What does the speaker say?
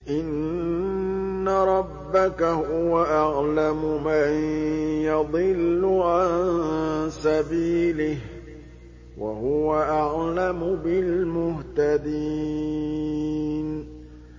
إِنَّ رَبَّكَ هُوَ أَعْلَمُ مَن يَضِلُّ عَن سَبِيلِهِ ۖ وَهُوَ أَعْلَمُ بِالْمُهْتَدِينَ